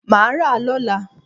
Mà a rà a lọ́la